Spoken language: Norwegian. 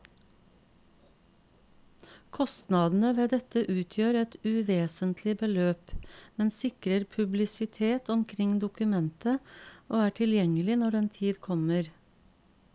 Kostnadene ved dette utgjør et uvesentlig beløp, men sikrer publisitet omkring dokumentet og er tilgjengelig når den tid kommer.